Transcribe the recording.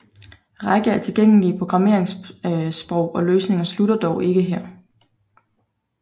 Række af tilgængelige programmeringssprog og løsninger slutter dog ikke her